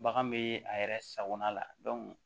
Bagan bee a yɛrɛ sagona la